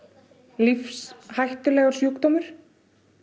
lífshættulegur sjúkdómur